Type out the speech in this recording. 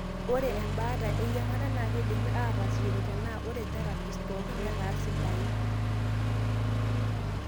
ore embaata eyiangata na kindimi atasishore tenaa ore therapies pooki netaa sidan.